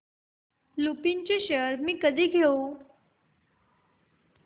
लुपिन चे शेअर्स मी कधी घेऊ